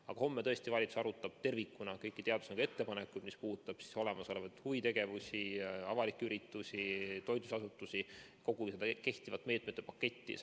Aga homme tõesti valitsus arutab tervikuna kõiki teadusnõukoja ettepanekuid, mis puudutavad huvitegevusi, avalikke üritusi, toitlustusasutusi ja kogu kehtivat meetmete paketti.